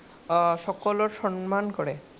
সকলৰ সন্মান কৰে।